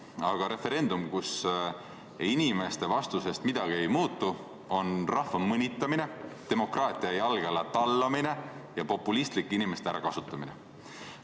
Aga referendum, kus inimeste vastusest midagi ei muutu, on rahva mõnitamine, demokraatia jalge alla tallamine ja populistlik inimeste ärakasutamine.